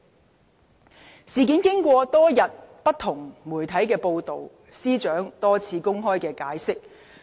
僭建事件經過媒體多日報道，而司長亦已多番公開解釋。